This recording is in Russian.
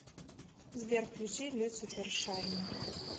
сбер включи люцифер шайни